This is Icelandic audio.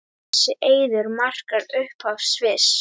Þessi eiður markar upphaf Sviss.